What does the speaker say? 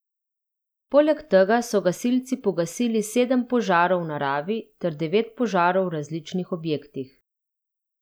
Poleg tega so gasilci pogasili sedem požarov v naravi ter devet požarov v različnih objektih.